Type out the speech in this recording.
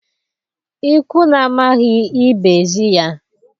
Ikwu na-amaghị, ibe ezi ya